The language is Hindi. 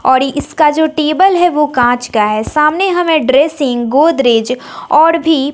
और इसका जो टेबल है वो कांच का है सामने हमें ड्रेसिंग गोदरेज और भी--